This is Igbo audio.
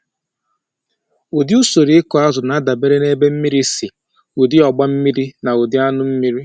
Ụdị usoro ịkụ azụ na-adabere na ebe mmiri si, ụdị ọgba mmiri, na ụdị anụ mmiri.